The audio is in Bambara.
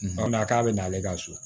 O na k'a bɛ na ale ka so